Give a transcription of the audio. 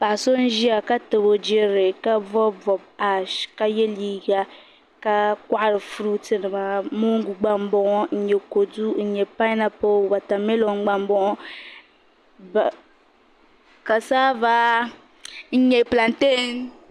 Paɣa so n ʒiya ka tabi o jirilli ka bɔbi bɔbi aash ka yɛ liiga ka kɔhiri furuuti nima moongu gba n bɔŋo n yɛ kodu n nyɛ paanapil watamilo gba n bɔŋo kasaava n nyɛ plantɛɛn.